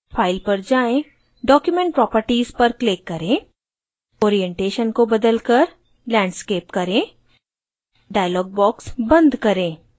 file पर जाएँ